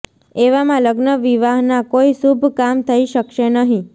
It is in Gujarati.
એવામાં લગ્ન વિવાહના કોઈ શુભ કામ થઈ શકશે નહીં